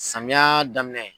Samiya daminɛ.